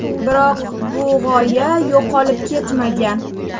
Biroq, bu g‘oya yo‘qolib ketmagan.